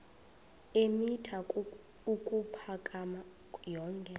eemitha ukuphakama yonke